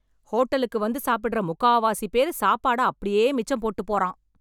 ஹோட்டலுக்கு வந்து சாப்பிடற முக்காவாசி பேரு சாப்பாட அப்படியே மிச்சம் போட்டு போறான்!!